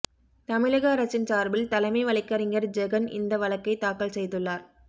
தமிழக அரசின் சார்பில் தலைமை வழக்கறிஞர் ஜெகன் இந்த வழக்கைத் தாக்கல் செய்துள்ளார்